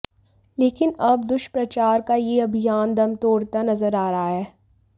लेकिन अब दुष्प्रचार का यह अभियान दम तोड़ता नजर आ रहा है